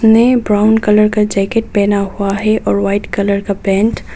ने brown colour का jacket पहना हुआ है और वाइट कलर का पैंट ।